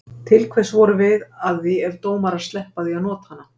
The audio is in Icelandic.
Til hvers vorum við að því ef dómarar sleppa því að nota hana?